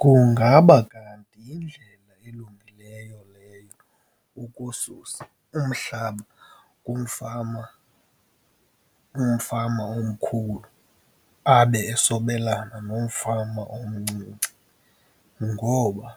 Kungaba kanti yindlela elungileyo leyo ukususa umhlaba kumfama, umfama omkhulu abe esobelana nomfama omncinci, ngoba